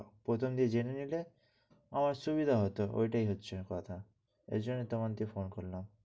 প্রথম দিন জেনে নিলে আমার সুবিধা হতো। ওটাই হচ্ছে কথা। এজন্য তোমাকো phone করলাম।